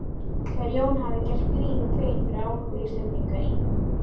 Þegar Jón hafði gert Grími grein fyrir áhuga Íslendinga í